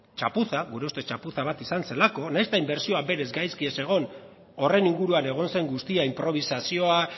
txapuza gure ustez txapuza bat izan zelako nahiz eta inbertsioa berez gaizki ez egon horren inguruan egon zen guztia inprobisazioa